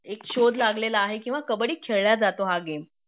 एक शोध लागलेला आहे किंवा कबड्डी खेळला जातो हा गेम